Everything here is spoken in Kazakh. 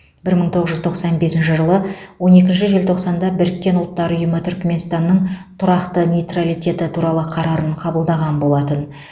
бір мың тоғыз жүз тоқсан бесінші жылы он екінші желтоқсанда біріккен ұлттар ұйымы түрікменстанның тұрақты нейтралитеті туралы қарарын қабылдаған болатын